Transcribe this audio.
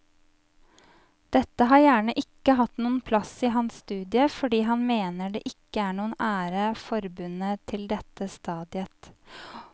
Dette har gjerne ikke hatt noen plass i hans studie fordi han mener det ikke er noen ære forbundet til dette stadiet.